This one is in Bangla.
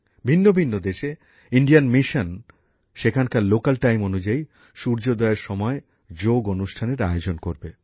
ভিন্ন ভিন্ন দেশে ভারতীয় মিশন সেখানকার স্থানীয় সময় অনুযায়ী সূর্যোদয়ের সময় যোগ অনুষ্ঠানের আয়োজন করবে